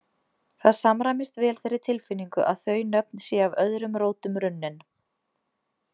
Það samræmist vel þeirri tilfinningu að þau nöfn séu af öðrum rótum runnin.